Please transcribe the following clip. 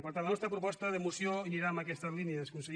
per tant la nostra proposta de moció anirà en aquestes línies conseller